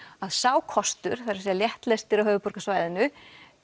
að sá kostur það er að segja léttlestir á höfuðborgarsvæðinu